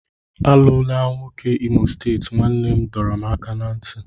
Alụla nwoke Imo steeti, nne m dọrọ m aka ná ntị.